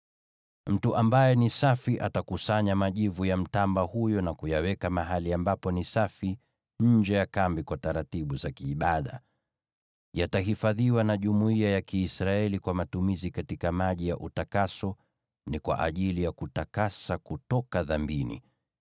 “Mtu ambaye ni safi atakusanya majivu ya mtamba huyo na kuyaweka mahali ambapo ni safi nje ya kambi kwa taratibu za kiibada. Yatahifadhiwa na jumuiya ya Kiisraeli kwa matumizi katika maji ya utakaso; ni kwa ajili ya kutakasa kutoka dhambini.